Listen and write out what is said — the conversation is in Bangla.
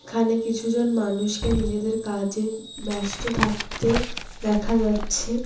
এখানে কিছু জন মানুষকে নিজেদের কাজে ব্যস্ত থাকতে দেখা যাচ্ছে।